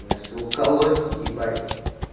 меня всего колотит ебать